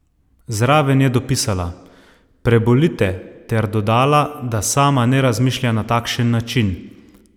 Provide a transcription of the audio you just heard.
Zraven je dopisala: "Prebolite," ter dodala, da sama ne razmišlja na takšen način.